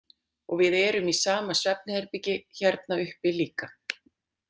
Og við erum í sama svefnherbergi hérna uppi líka.